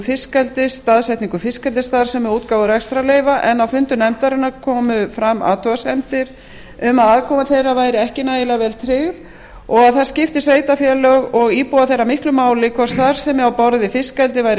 fiskeldis staðsetningu fiskeldisstarfsemi og útgáfu rekstrarleyfa en á fundum nefndarinnar komu fram athugasemdir um að aðkoma þeirra væri ekki nægilega vel tryggð og að það skipti sveitarfélög og íbúa þeirra miklu máli hvort starfsemi á borð við fiskeldi væri